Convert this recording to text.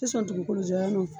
tɛ sɔn dugukolo jalan